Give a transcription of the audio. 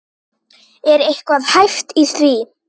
Er eitthvað hæft í því?